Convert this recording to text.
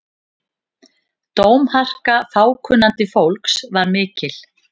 Dómharka fákunnandi fólks var mikil.